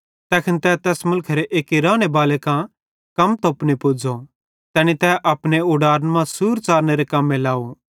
तैखन तै तैस मुलखेरे एक्की रानेबाले कां कम तोपने पुज़ो तैनी तै अपने उडारन मां सूर च़ारनेरे कम्मे लाव